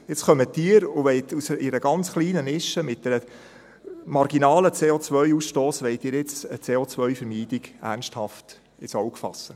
Jetzt kommen Sie und wollen in einer ganz kleinen Nische mit einem marginalen CO-Ausstoss eine CO-Vermeidung ernsthaft ins Auge fassen.